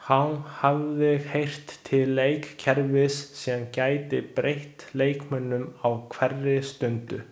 Hán hafði heyrt til leikkerfis sem gæti breytt leiknum á hverri stundu.